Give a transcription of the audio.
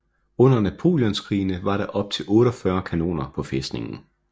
Under napoleonskrigene var der op til 48 kanoner på fæstningen